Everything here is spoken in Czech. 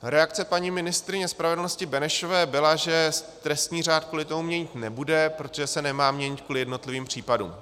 Reakce paní ministryně spravedlnosti Benešové byla, že trestní řád kvůli tomu měnit nebude, protože se nemá měnit kvůli jednotlivým případům.